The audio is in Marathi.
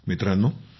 मित्रांनो